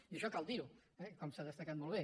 i això cal dir ho eh com s’ha destacat molt bé